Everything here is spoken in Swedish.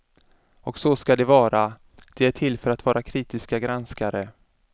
Och så ska det vara, de är till för att vara kritiska granskare.